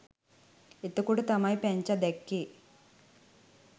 එතකොට තමයි පැංචා දැක්කෙ